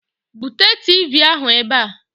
Bute Tiivii ahụ ebe a!